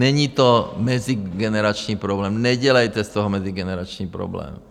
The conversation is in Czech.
Není to mezigenerační problém, nedělejte z toho mezigenerační problém.